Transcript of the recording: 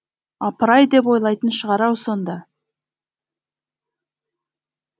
апырай деп ойлайтын шығар ау сонда